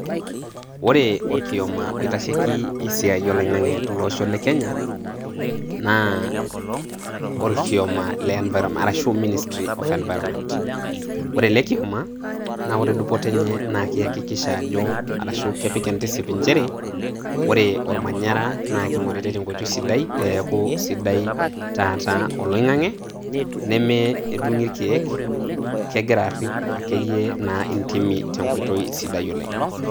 Ore olkioma oitasheiki esiai oloing'ang'e tolosho le Kenya naa olkioma le ministry of environment. Ore ele kioma naa kore dupoto enye naa keakikisha ajo arashu kipik intisip nchere ore olmanyara naa keing'oritai teng'oitoi sidai peaku sidai taata oloing'ang'e nemedung'i ilkeek. Keg'ira arip naa ake iyie intimi teng'oitoi sidai oleng'.